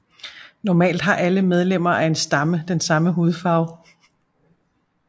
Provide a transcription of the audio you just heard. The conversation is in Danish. Normalt har alle medlemmer af en stamme den samme hudfarve